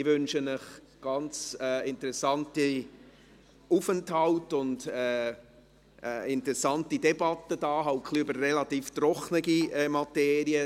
Ich wünsche Ihnen einen interessanten Aufenthalt und eine interessante Debatte, halt über eine relativ trockene Materie;